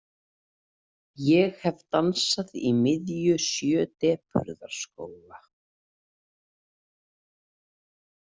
Ég hef dansað í miðju sjö depurðarskóga.